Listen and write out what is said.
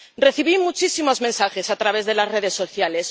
Recibí muchísimos mensajes a través de las redes sociales.